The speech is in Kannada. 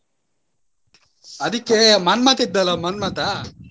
ಅದಕ್ಕೆ ಮನ್ಮತ ಇದ್ದಲ್ಲಾ ಮನ್ಮತ.